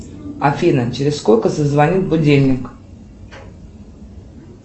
афина через сколько зазвонит будильник